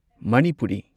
Manipuri